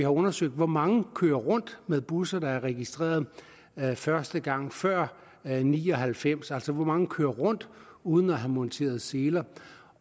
undersøgt hvor mange der kører rundt med busser der er registreret første gang før nitten ni og halvfems altså hvor mange der kører rundt uden at have monteret seler